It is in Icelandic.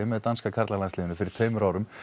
með danska karlalandsliðinu fyrir tveimur árum